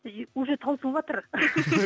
уже таусылватыр